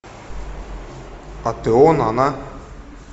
а ты он она